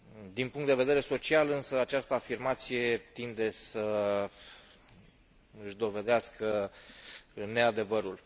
Din punct de vedere social însă, această afirmație tinde să își dovedească neadevărul.